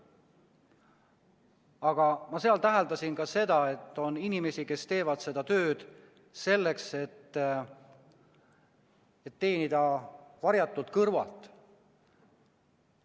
Aga ma täheldasin ka seda, et on inimesi, kes teevad seda tööd selleks, et teenida varjatult kõrvalt.